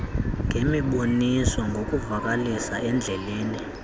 ngemiboniso ngokuvakalisa endlebeni